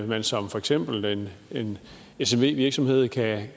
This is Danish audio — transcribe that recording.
man som for eksempel smv virksomhed kan